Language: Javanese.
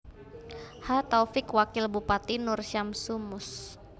H Taufik Wakil Bupati Nur Syamsu Mus